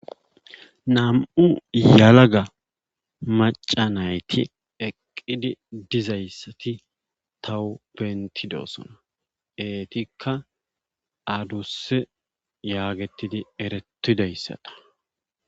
Nam'u yelaga macca nayti eqqidi dizayssati tawu bentidosona. eetikka adusse yagetidi eretidaysata.